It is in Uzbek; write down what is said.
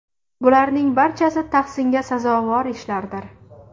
Bularning barchasi tahsinga sazovor ishlardir.